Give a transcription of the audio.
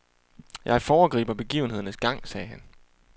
Jeg foregriber begivenhedernes gang, sagde han.